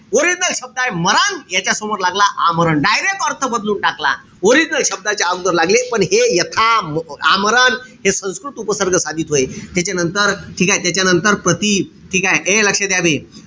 Original शब्दय. मरण यांच्यासमोर लागला आमरण. Direct अर्थ बदलवून टाकला. Original शब्दाच्या अगोदर लागले पण हे यथा, आमरण हे संस्कृत उपसर्ग साधित होय. त्याच्यानंतर ठीकेय? त्याच्यानंतर प्रति, ए लक्ष द्या बे.